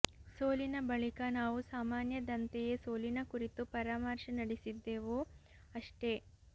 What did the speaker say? ಸೋಲಿನ ಬಳಿಕ ನಾವು ಸಾಮಾನ್ಯದಂತೆಯೇ ಸೋಲಿನ ಕುರಿತು ಪರಾಮರ್ಶೆ ನಡೆಸಿದ್ದವು ಅಷ್ಟೇ